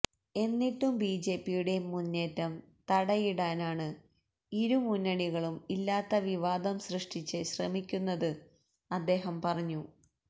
എന്നിട്ടും ബിജെപിയുടെ മുന്നേറ്റം തടയിടാനാണ് ഇരു മുന്നണികളും ഇല്ലാത്തവിവാദം സൃഷ്ടിച്ച് ശ്രമിക്കുന്നത് അദ്ദേഹം പറഞ്ഞു